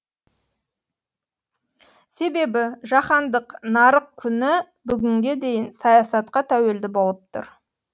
себебі жаһандық нарық күні бүгінге дейін саясатқа тәуелді болып тұр